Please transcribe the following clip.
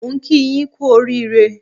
Mo ń kí yín kú oríire